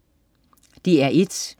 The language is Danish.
DR1: